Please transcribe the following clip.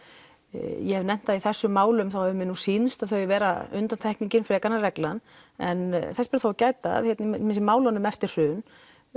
ég hef nefnt það í þessum málum að þá hefur mér sýnst þau vera undantekningin frekar en reglan en þess ber þó að gæta að í málunum eftir hrun